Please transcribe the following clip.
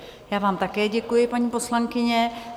Já vám také děkuji, paní poslankyně.